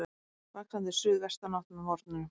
Vaxandi suðvestanátt með morgninum